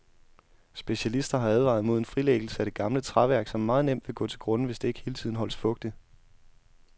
Specialister har advaret mod en frilæggelse af det gamle træværk, som meget nemt vil gå til grunde, hvis det ikke hele tiden holdes fugtigt.